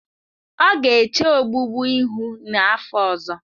Ọ ga-eche ogbugbu ihu n'afọ ọzọ.